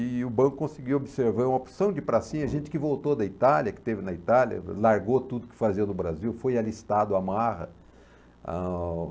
E o banco conseguiu observar uma opção de pracinha, gente que voltou da Itália, que teve na Itália, largou tudo que fazia no Brasil, foi alistado à marra. Ah...